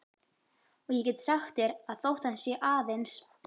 Og ég get sagt þér að þótt hann sé aðeins